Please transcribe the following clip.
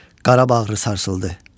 Qara bağrı sarsıldı.